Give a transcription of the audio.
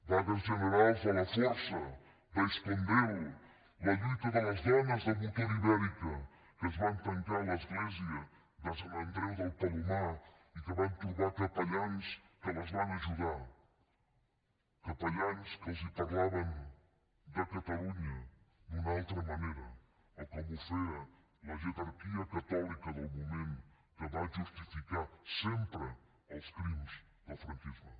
vagues generals a la força d’aiscondel la lluita de les dones de motor ibérica que es van tancar a l’església de sant andreu de palomar i que van trobar capellans que les van ajudar capellans que els parlaven de catalunya d’una altra manera de com ho feia la jerarquia catòlica del moment que va justificar sempredel franquisme